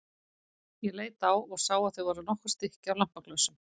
Ég leit á og sá að það voru nokkur stykki af lampaglösum.